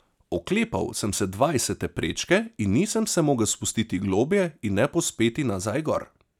Oklepal sem se dvajsete prečke in nisem se mogel ne spustiti globlje ne povzpeti nazaj gor.